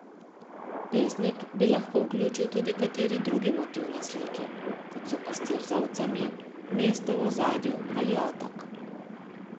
Pesnik bi lahko vključil tudi kateri drug motiv na sliki, kot so pastir z ovcami, mesto v ozadju ali otok.